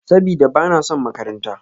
Sabida, ba na son makaranta.